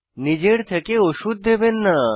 নিজের থেকে ওষুধ দেবেন না